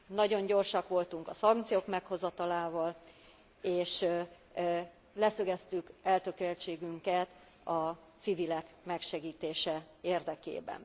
Nagyon gyorsak voltunk a szankciók meghozatalával és leszögeztük eltökéltségünket a civilek megsegítése érdekében.